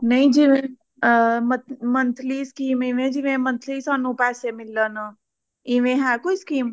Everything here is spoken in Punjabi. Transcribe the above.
ਨਹੀਂ ਜਿਵੇ ਅ monthly scheme ਇਵੇਂ ਜਿਵੇਂ monthly ਸਾਨੂੰ ਪੈਸੈ ਮਿਲਣ ਇਵੇਂ ਹੈ ਕੋਈ scheme